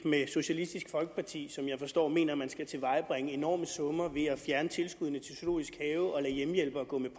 med socialistisk folkeparti som jeg forstår mener at man skal tilvejebringe enorme summer ved at fjerne tilskuddene til zoologisk have og lade hjemmehjælpere gå med